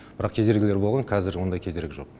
бірақ кедергілер болған қазір ондай кедергі жоқ